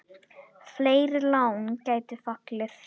Fleiri lán gætu fallið.